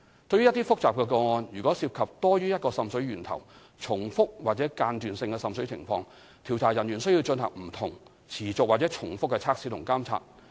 對於一些複雜的個案，如果涉及多於一個滲水源頭、重複或間斷性的滲水情況，調查人員須進行不同、持續或重複的測試及監察。